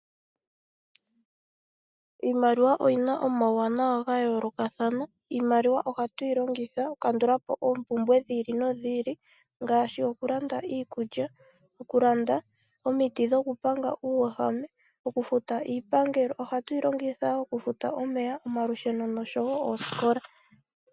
Iimaliwa oyina omauwanawa ga yoolokathana. Iimaliwa ohatu yi longitha okukandula po oompumbwe dhi ili nodhi li ngaashi okulanda iikulya, okulanda omiti dhokupanga uuwehame, okufuta iipangelo. Ohatu yi longitha wo okufuta omeya, omalusheno noshowo oosikola.